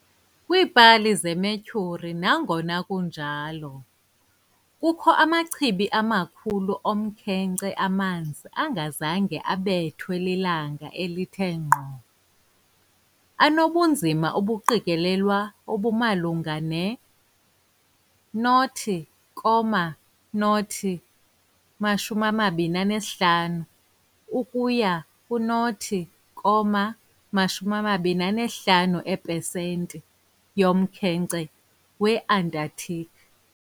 Kwii-pali zeMercury's nangona kunjalo, kukho amachibi amakhulu omkhenkce amanzi angazange abekwe lilanga elithe ngqo, anobunzima obuqikelelwayo obumalunga ne-0.025-0.25 eepesenti yomkhenkce weAntarctic.